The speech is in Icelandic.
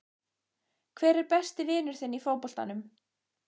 Hver er besti vinur þinn í fótboltanum?